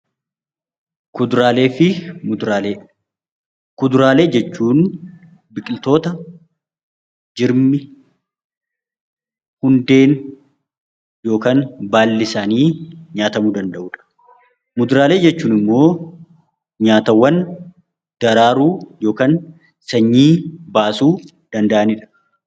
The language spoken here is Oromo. Kuduraalee jechuun biqiltoota jirmi, hundeen yookiin baalli isaanii nyaatamuu danda'udha. Muduraalee jechuun immoo nyaatawwan daraaruu yookiin sanyii baasuu danda'anidha.